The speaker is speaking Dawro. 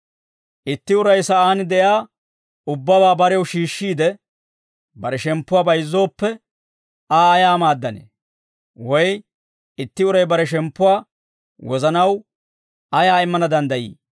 Itti uray sa'aan de'iyaa ubbabaa barew shiishshiide, bare shemppuwaa bayizzooppe, Aa ayaa maaddanee? Woy itti uray bare shemppuwaa wozanaw ayaa immana danddayii?